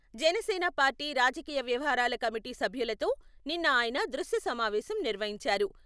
Janasena party రాజకీయ వ్యవహారాల committee సభ్యులతో నిన్న ఆయన దృశ్య సమావేశం నిర్వహించారు.